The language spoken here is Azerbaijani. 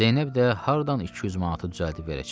Zeynəb də hardan 200 manatı düzəldib verəcək?